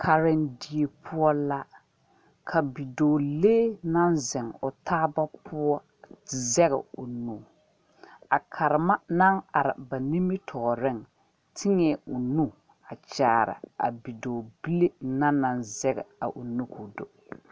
Karendie puo la ka bidoɔlee nang zeng ɔ taaba puo zeg ɔ nu a karema nang arẽ ba nimitooring teẽ ɔ nu kyaare a bidoɔbile na nang zeg a ɔ nu kuo do.